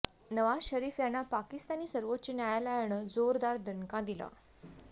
नवाज शरीफ यांना पाकिस्तानी सर्वोच्च न्यायायालनं जोरदार दणका दिला